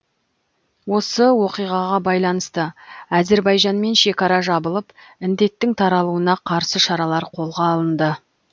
осы оқиғаға байланысты әзербайжанмен шекара жабылып індеттің таралуына қарсы шаралар қолға алынды